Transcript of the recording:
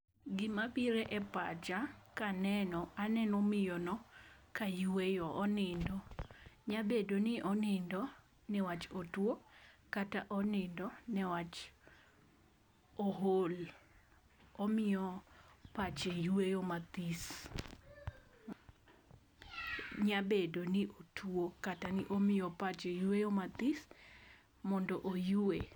Gima biro e pacha kaneno, aneno miyono kayueyo, onindo. Nyabedo ni onindo niwach otuo, kata onindo niwach ool, omiyo pache yueyo mathis. Nyabedo ni otuo kata ni omiyo pache yueyo mathis mondo oyue.